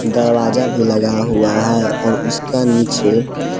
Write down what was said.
दरवाजा भी लगा हुआ है और उसका नीचे--